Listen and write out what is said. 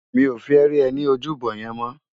Mi ó fè ri è ni ójúbò yèn mò